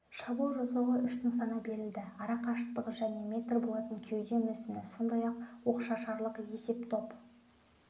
шабуыл жасауға үш нысана берілді ара қашықтығы және метр болатын кеуде мүсіні сондай-ақ оқшашарлық есептоп